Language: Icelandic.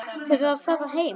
Verður að fara heim.